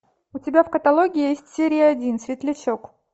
у тебя в каталоге есть серия один светлячок